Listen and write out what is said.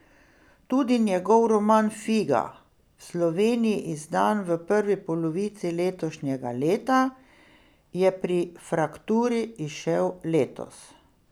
Tudi njegov roman Figa, v Sloveniji izdan v prvi polovici letošnjega leta, je pri Frakturi izšel letos.